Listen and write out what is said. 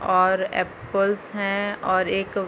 और एपल्स हैं और एक --